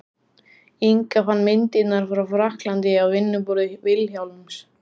Inga fann myndirnar frá frakklandi á vinnuborði Vilhjálms.